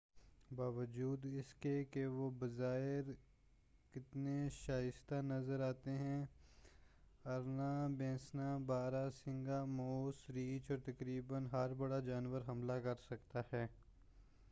باوجود اس کے کہ وہ بظاہر کتنے شائستہ نظر آتے ہیں ارنا بھینسا بارہ سنگا موس ریچھ اور تقریباً ہر بڑا جانور حملہ کر سکتا ہے